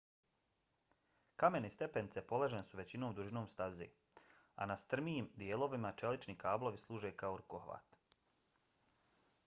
kamene stepenice položene su većom dužinom staze a na strmijim dijelovima čelični kablovi služe kao rukohvat